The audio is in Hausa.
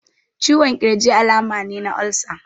Ciwon ƙirji alama ne na olsa.